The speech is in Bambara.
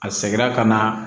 A sɛgɛnna ka na